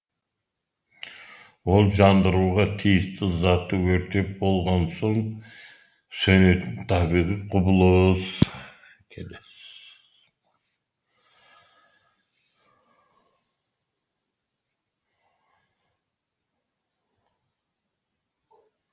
ол жандыруға тиісті затты өртеп болған соң сөнетін табиғи құбылыс